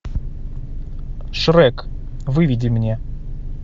шрек выведи мне